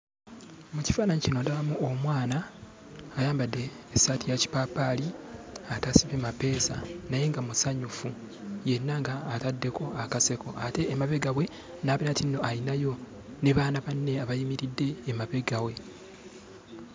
Mu kifaananyi kino ndabamu omwana ayambadde essaati ya kipaapaali atasibye mapeesa naye nga musanyufu, yenna nga ataddeko akaseko, ate emabega we n'abeera nti nno ayinayo ne baana banne abayimiridde emabega we.